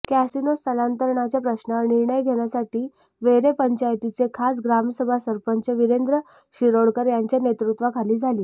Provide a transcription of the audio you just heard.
casino स्थलांतरणाच्या प्रश्नावर निर्णय घेण्यासाठी वेरे पंचायतीची खास ग्रामसभा सरपंच विरेंद्र शिरोडकर यांच्या नेतृत्वाखाली झाली